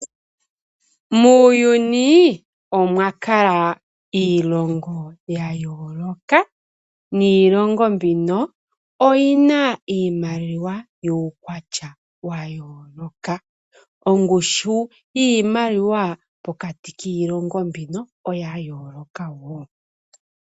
Muuyuni omwa kala iilongo ya yooloka niilongo mbino oyi na iimaliwa yuukwatya wa yooloka. Ongushu yiimaliwa pokati kiilongo mbino oya yooloka wo.